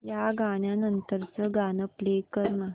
या गाण्या नंतरचं गाणं प्ले कर ना